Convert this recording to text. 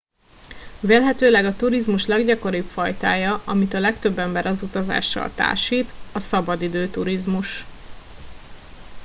vélhetőleg a turizmus leggyakoribb fajtája amit a legtöbb ember az utazással társít a szabadidő turizmus